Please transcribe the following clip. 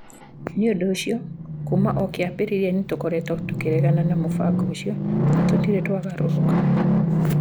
Nĩ ũndũ ũcio, kuuma o kĩambĩrĩria nĩtũkoretwo tũkĩregana na mũbango ũcio na tũtirĩ twagarũrũka".